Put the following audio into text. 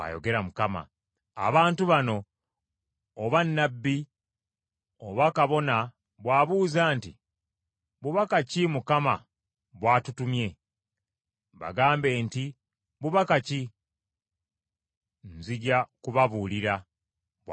“Abantu bano, oba nnabbi oba kabona bw’abuuza nti, ‘Bubaka ki Mukama bw’atutumye?’ Bagambe nti, ‘Bubaka ki? Nzija kubabuulira, bw’ayogera Mukama .’